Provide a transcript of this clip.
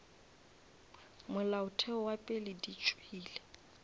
molaotheo wa pele di tšwela